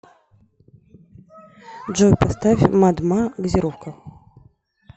джой поставь мад ма газировка